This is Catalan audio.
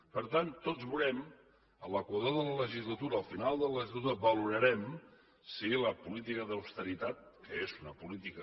per tant tots veurem a l’equador de la legislatura al final de la legislatura valorarem si la política d’austeritat que és una política